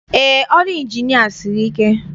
Eé, ọrụ ọrụ Ịnjinịa siri ike.